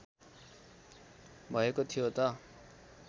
भएको थियो त